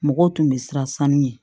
Mɔgɔw tun bɛ siran sanu ɲɛ